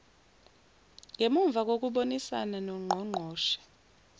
ngemuva kokubonisana nongqongqoshe